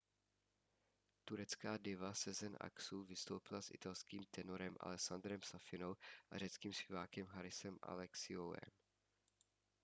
turecká diva sezen aksu vystoupila s italským tenorem alessandrem safinou a řeckým zpěvákem harisem alexiouem